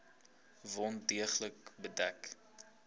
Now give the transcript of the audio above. wond deeglik bedek